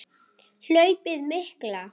Hlaupið mikla